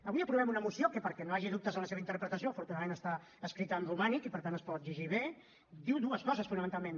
avui aprovem una moció que perquè no hi hagi dubtes en la seva interpretació afortunadament està escrita en romànic i per tant es pot llegir bé que diu dues coses fonamentalment